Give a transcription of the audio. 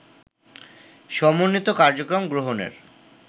সমন্বিত কার্যক্রম গ্রহণের